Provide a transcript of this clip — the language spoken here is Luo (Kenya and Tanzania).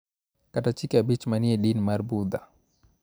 Kata Chike Abich ma ni e din mar Budha .